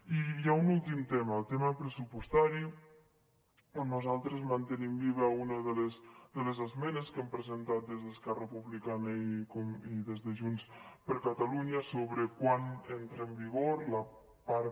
i hi ha un últim tema el tema pressupostari on nosaltres mantenim viva una de les esmenes que hem presentat des d’esquerra republicana i des de junts per catalunya sobre quan entra en vigor la part